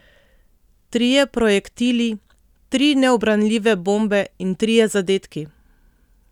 Trije projektili, tri neubranljive bombe in trije zadetki!